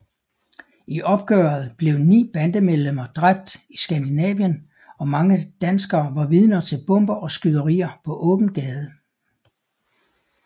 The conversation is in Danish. I opgøret blev 9 bandemedlemmer dræbt i Skandinavien og mange danskere var vidner til bomber og skyderier på åben gade